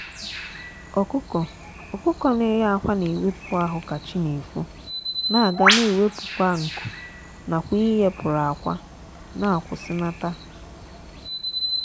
ọkụkọ ọkụkọ na eye akwa na ewepu ahu ka chi na-efo na aga na ewepu kwa nkụ nakwa ịye pụrụ akwa na akwusinata.